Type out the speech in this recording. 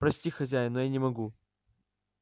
прости хозяин но я не могу